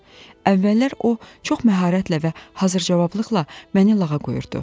Əvvəllər o çox məharətlə və hazır cavablıqla məni lağa qoyurdu.